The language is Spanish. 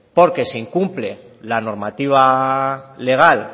porque se incumple la normativa legal